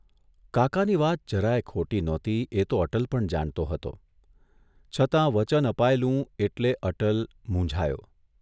કાકાની વાત જરાય ખોટી નહોતી એ તો અટલ પણ જાણતો હતો, છતાં વચન અપાયેલું એટલે અટલ મૂંઝાયો.